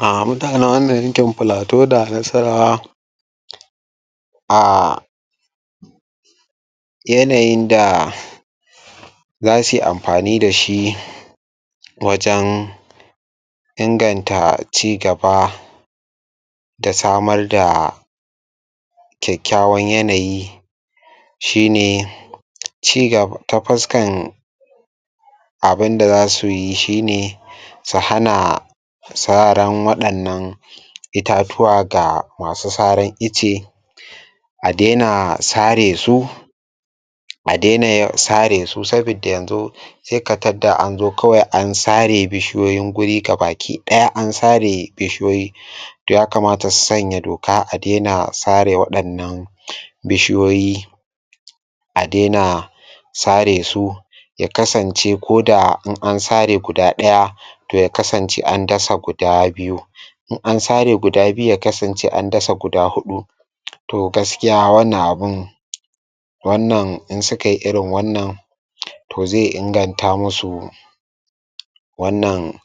um Ah mutanen wannan yankin Plateau da Nasarawa aahh yanayin da zasu yi amfani dashi wajan inganta cigaba da samar da kyakkyawan yanayi shi ne um cigaba ta fuskan abunda zasu yi shi ne su hana saran waɗannan um itatuwa ga masu saran icce a daina sare su um a daina ya sare su sabida yanzu sai ka tadda an zo kawai an sare bishiyoyin guri ga baki ɗaya an sare bishiyoyi um yakamata su sanya doka a daina sare waɗannan um bishiyoyi a daina sare su ya kasance koda in sare guda ɗaya toh ya kasance an dasa guda biyu in an sare guda biyu ya kasance an dasa guda huɗu toh gaskiya wannan abun wannan in sukai irin wannan um toh zai inganta musu wannan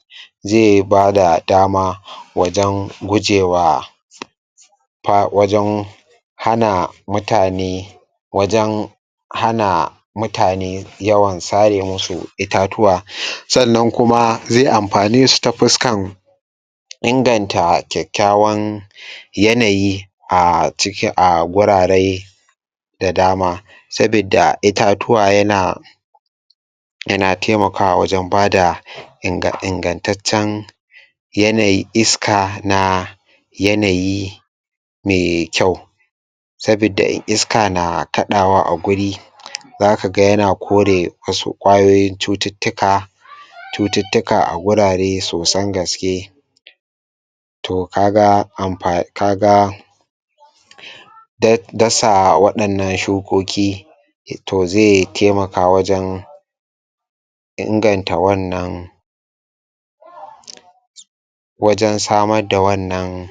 zai bada dama um wajan gujewa fa wajen hana mutane wajen hana mutane yawan sare musu itatuwa um sannan kuma zai amfane su ta fuskan inganta kyakkyawan um yanayi a ciki a gurare da dama sabidda itatuwa yana yana taimakawa wajan bada um inga ingattaccen yanayin iska na yanayi mai kyau sabida in iska na kaɗawa a guri zaka ga yana kore wasu ƙwayoyin cututtuka cututtuka a gurare sosan gaske toh ka ga amfa.. ka ga da dasa waɗannan shukoki toh zai taimaka wajan inganta wannan wajan samar da wannan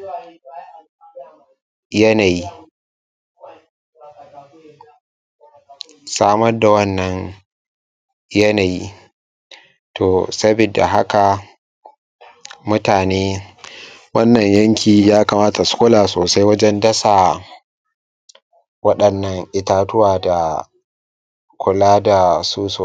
yanayi samar da wannan yanayi toh sabidda haka mutane um wannan yanki ya kamata su kula sosai wajan dasa waɗannan itatuwa da kula da su so